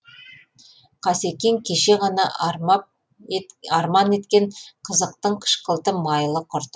қасекең кеше ғана армап арман еткен қазақтың қышқылтым майлы құрты